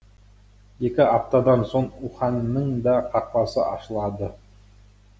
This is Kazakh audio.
екі аптадан соң уханьның да қақпасы ашылады